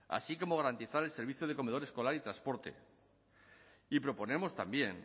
así como garantizar el servicio de comedor escolar y transporte y proponemos también